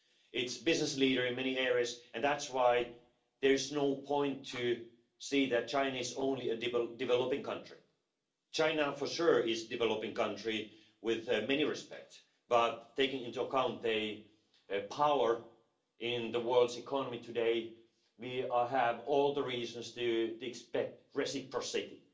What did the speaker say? It's a business leader in many areas and that's why there is no point to say that China is only a developing country. China for sure is a developing country in many respects, but taking into account its power in the world's economy today we have all the reasons to expect reciprocity.